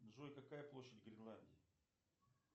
джой какая площадь гренландии